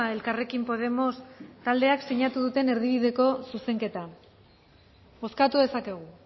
elkarrekin podemos taldeak sinatu duten erdibideko zuzenketa bozkatu dezakegu